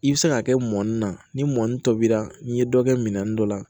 I bɛ se k'a kɛ mɔni na ni mɔni tobi la n'i ye dɔ kɛ minɛn dɔ la